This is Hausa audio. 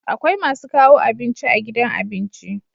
Akwai masu kawo abinci a gidan abinci